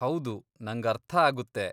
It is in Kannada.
ಹೌದು, ನಂಗರ್ಥ ಆಗುತ್ತೆ.